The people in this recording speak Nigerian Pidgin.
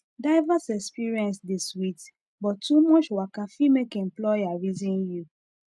diverse experience dey sweet but too much waka fit make employer reason you